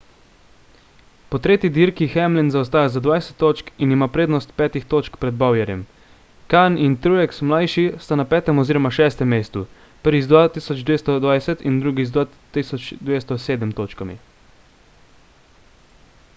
po tretji dirki hamlin zaostaja za dvajset točk in ima prednost petih točk pred bowyerjem kahne in truex ml sta na petem oziroma šestem mestu prvi z 2.220 in drugi z 2.207 točkami